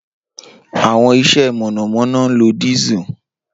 Awọn ise monomono nlo Diesel.